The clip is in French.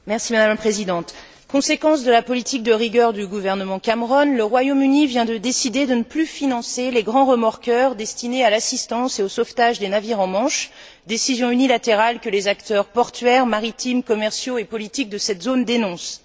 Madame la Présidente, conséquence de la politique de rigueur du gouvernement Cameron, le Royaume Uni vient de décider de ne plus financer les grands remorqueurs destinés à l'assistance et au sauvetage des navires en Manche, décision unilatérale que les acteurs portuaires, maritimes, commerciaux et politiques de cette zone dénoncent.